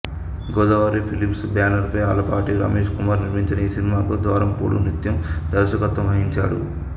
Godavari films banner పై ఆలపాటి రమేష్ కుమార్ నిర్మించిన ఈ సినిమాకు ద్వారంపూడు సత్యం దర్శకత్వం వహించాడు